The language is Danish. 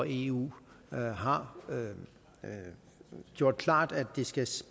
eu har gjort klart at det skal